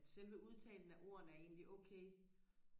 at selve udtalen af ordene er egentlig okay